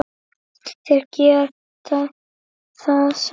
Þeir geta það samt.